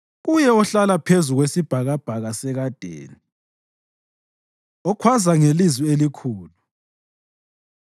kuye ohlala phezu kwesibhakabhaka sekadeni, okhwaza ngelizwi elikhulu.